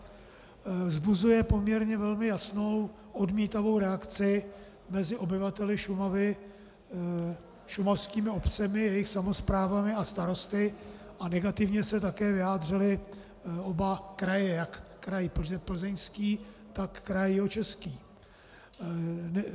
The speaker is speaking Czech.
Vzbuzuje poměrně velmi jasnou odmítavou reakci mezi obyvateli Šumavy, šumavskými obcemi, jejich samosprávami a starosty a negativně se také vyjádřily oba kraje, jak kraj Plzeňský, tak kraj Jihočeský.